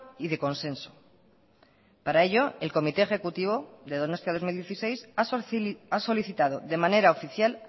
y de consenso para ello el comité ejecutivo de donostia dos mil dieciséis ha solicitado de manera oficial